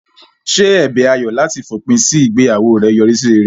Ṣé ẹ̀bẹ̀ Ayọ̀ láti fòpin sí ìgbéyàwó rẹ̀ yọrí sí rere?